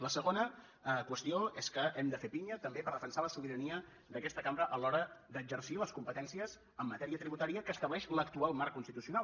la segona qüestió és que hem de fer pinya també per defensar la sobirania d’aquesta cambra a l’hora d’exercir les competències en matèria tributària que estableix l’actual marc constitucional